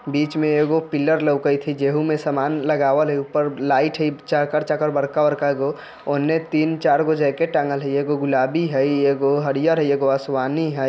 बीच में एगो पिलर लॉगईथ है जेहु में सामान लगावत है ऊपर लाइट है चाकर-चाकर बरका-बरका गो उमहे तीन-चार को जाकिट तागल लिए एगो है गुलाबी है एगो हरियर एगो आसमानी है।